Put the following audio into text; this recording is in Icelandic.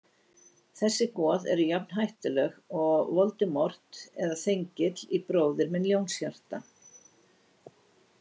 Þessi goð eru jafn hættuleg og Voldemort eða Þengill í Bróðir minn Ljónshjarta.